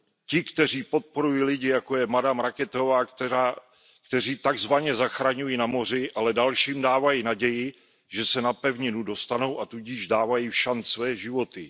ti, kteří podporují lidi, jako je madam Racketová, kteří tak zvaně zachraňují na moři, ale dalším dávají naději, že se na pevninu dostanou, a tudíž dávají všanc své životy.